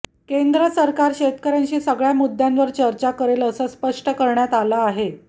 केंद्र सरकार शेतकऱ्यांशी सगळ्या मुद्यांवर चर्चा करेल असं स्पष्ट करण्यात आलं आहे